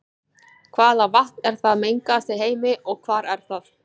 Hvaða vatn er það mengaðasta í heimi og hvar er það?